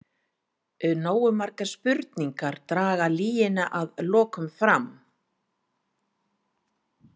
Nógu margar spurningar draga lygina að lokum fram.